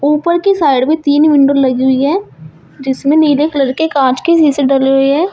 ऊपर की साइड में तीन विंडो लगी हुई है जिसमें नीले कलर के कांच के शीशे डले हुए हैं।